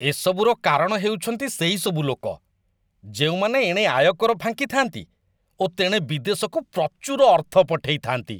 ଏ ସବୁର କାରଣ ହେଉଛନ୍ତି ସେହିସବୁ ଲୋକ, ଯେଉଁମାନେ ଏଣେ ଆୟକର ଫାଙ୍କିଥାନ୍ତି ଓ ତେଣେ ବିଦେଶକୁ ପ୍ରଚୁର ଅର୍ଥ ପଠେଇଥାନ୍ତି।